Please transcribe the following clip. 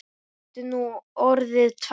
Áttu nú orðið tvær?